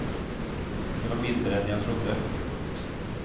Det var mindre än jag trodde. punkt